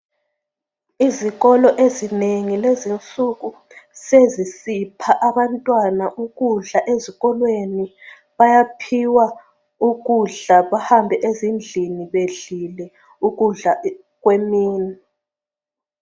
Izikolo ezinengi lezinsuku sezisipha abantwana ukudla ezikolweni bayaphiwa ukudla bahambe ezindlini bedlile ukudla kwemini